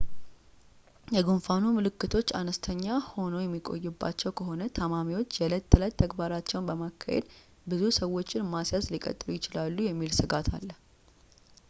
የጉንፋኑ ምልክቶች አነስተኛ ሆኖ የሚቆይባቸው ከሆነ ታማሚዎች የዕለት ተዕለት ተግባራቸውን በማካሄድ ብዙ ሰዎችን ማስያዝ ሊቀጥሉ ይችላሉ የሚል ሥጋት አለ